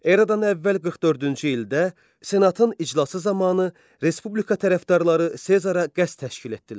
Eradan əvvəl 44-cü ildə senatın iclası zamanı Respublika tərəfdarları Sezara qəsd təşkil etdilər.